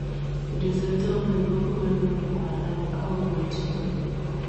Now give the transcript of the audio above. Rhizotomi kogonuu kokwalak akogoon nepo kipkoi